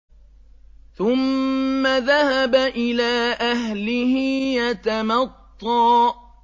ثُمَّ ذَهَبَ إِلَىٰ أَهْلِهِ يَتَمَطَّىٰ